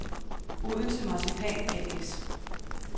Odense Marcipan A/S